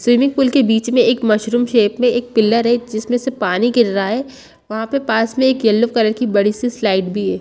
Swimming pool के बीच में एक मशरुम शेप में एक पिलर है जिसमे से पानी गिर रहा है वहाँ पे पास में एक येलो कलर की बड़ी सी स्लाइड भी है।